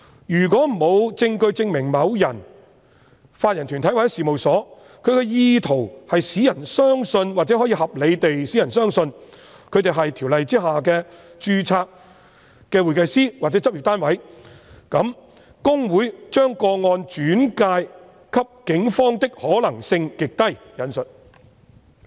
如果沒有證據證明某人、法人團體或事務所有意圖使人相信或可以合理地使人相信他們是《條例》下的註冊會計師或執業單位，那麼："公會把個案轉介警方的可能性極低"。